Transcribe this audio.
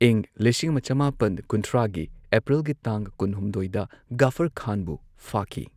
ꯏꯪ ꯂꯤꯁꯤꯡ ꯑꯃ ꯆꯃꯥꯄꯟ ꯀꯨꯟꯊ꯭ꯔꯥꯒꯤ ꯑꯦꯄ꯭ꯔꯤꯜꯒꯤ ꯇꯥꯡ ꯀꯨꯟ ꯍꯨꯝꯗꯣꯏꯗ ꯘꯐꯔ ꯈꯥꯟꯕꯨ ꯐꯥꯈꯤ꯫